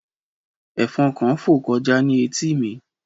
Ẹ̀fọn kan fò kọjá ní etí mi.